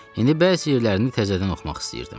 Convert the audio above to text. İndi bəzi yerlərini təzədən oxumaq istəyirdim.